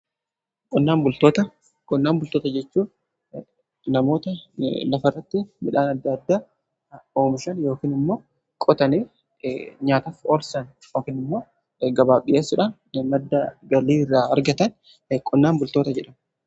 Qonnaan bultoota jechuun namoota lafarratti midhaan adda addaa oomishan yookan immoo qotanii nyaataaf oolchan yookiin immoo gabaaf dhiyeessudhaan madda galii irraa argatan qonnaan bultoota jedhamu.